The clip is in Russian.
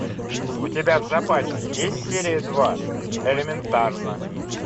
у тебя в запасе есть серия два элементарно